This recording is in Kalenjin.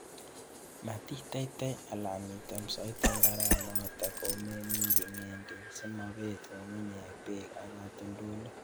Matiteitei alan item soiti mbaranotet komeminji ng'endek simobet ng'ung'unyek bek ak katoltolik.